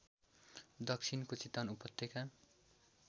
दक्षिणको चितवन उपत्यका